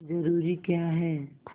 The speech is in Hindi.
जरूरी क्या है